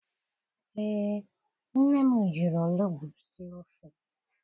Ee, nne m jiri olugbu sie ofe.